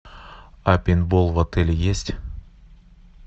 а пейнтбол в отеле есть